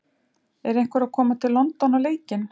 Er einhver að koma til London á leikinn?!